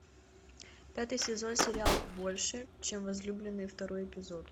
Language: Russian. пятый сезон сериал больше чем возлюбленные второй эпизод